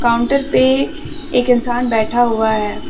Counter पे एक इंसान बैठा हुआ है।